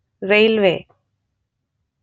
railway